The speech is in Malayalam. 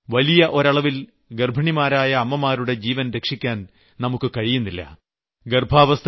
എന്നാൽ ഇപ്പോഴും വലിയ ഒരളവിൽ ഗർഭിണിമാരായ അമ്മമാരുടെ ജീവൻ രക്ഷിക്കാൻ നമുക്ക് കഴിയുന്നില്ല